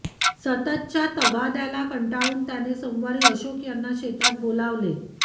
सततच्या तगाद्याला कंटाळून त्याने सोमवारी अशोक यांना शेतात बोलावले